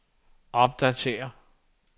opdatér